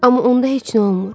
Amma onda heç nə olmur.